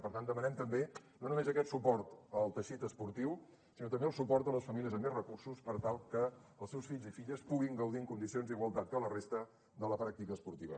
per tant demanem també no només aquest suport al teixit esportiu sinó també el suport a les famílies amb menys recursos per tal que els seus fills i filles puguin gaudir en condicions d’igualtat que la resta de la pràctica esportiva